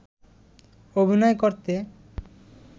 অভিনয় করতে